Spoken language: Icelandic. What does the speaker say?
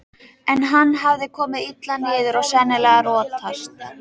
En hann hafði komið illa niður og sennilega rotast.